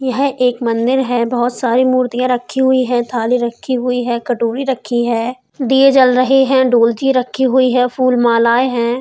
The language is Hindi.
यह एक मंदिर है। बहोत सारी मूर्तियाँ रखी हुई हैं थाली रखी हुई है कटोरी रखी है। दिए जल रहे हैं। डोलची रखी हुई है। फूल मालाएँ हैं।